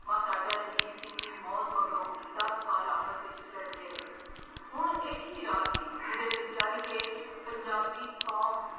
ਮਹਰਾਜਾ ਰਣਜੀਤ ਸਿੰਘ ੀ ਮੌਤ ਮਗਰੋਂ ਦੱਸ ਸਾਲ ਆਪਸ ਵਿੱਚ ਲੜਦੇ ਰਹੇ। ਹੁਣ ਇਹ ਕੀ ਰਾਹ ਸੀ। ਜਿਹਦੇ ਤੇ ਚੱਲ ਕੇ ਪੰਜਾਬੀ ਕੌਮ